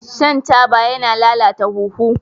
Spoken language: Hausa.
Shan taba yana lalata huhu.